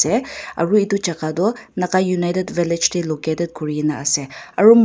aro edu jaka toh naga united village tae located kurina ase aro.